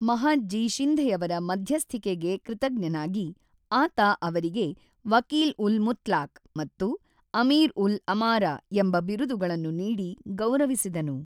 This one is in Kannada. ಮಹಾದ್‌ಜೀ ಶಿಂಧೆಯವರ ಮಧ್ಯಸ್ಥಿಕೆಗೆ ಕೃತಜ್ಞನಾಗಿ, ಆತ ಅವರಿಗೆ ವಕೀಲ್-ಉಲ್-ಮುತ್ಲಾಕ್ ಮತ್ತು ಆಮಿರ್-ಉಲ್-ಅಮಾರಾ ಎಂಬ ಬಿರುದುಗಳನ್ನು ನೀಡಿ ಗೌರವಿಸಿದನು.